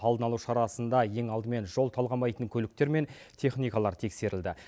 алдын алу шарасында ең алдымен жол талғамайтын көліктер мен техникалар тексерілді